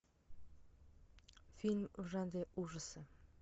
фильм в жанре ужасы